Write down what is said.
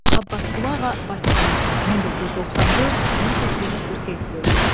Abbasqulu Ağa Bakıxanov 1994, 1847.